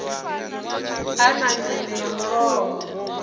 a na meme ya mulomo